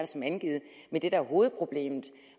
som angivet men det der er hovedproblemet